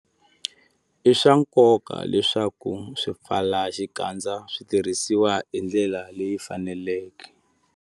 I swa nkoka leswaku swipfalaxikandza swi tirhisiwa hi ndlela leyi faneleke.